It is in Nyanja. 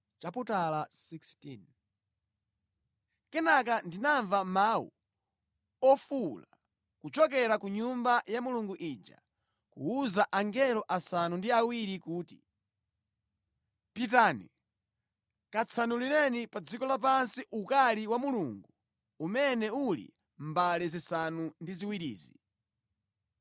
Kenaka ndinamva mawu ofuwula kuchokera ku Nyumba ya Mulungu ija kuwuza angelo asanu ndi awiri kuti, “Pitani, katsanulireni pa dziko lapansi ukali wa Mulungu umene uli mʼmbale zisanu ndi ziwirizi!”